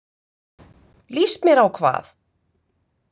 Líst mér á hvað?